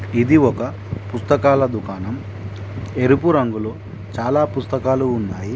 ఇది ఒక పుస్తకాల దుకాణం ఎరుపు రంగులో చాలా పుస్తకాలు ఉన్నాయి.